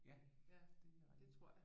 Ja ja det er rigtigt